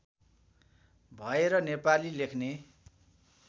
भएर नेपाली लेख्ने